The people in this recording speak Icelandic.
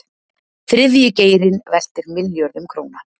Þriðji geirinn veltir milljörðum króna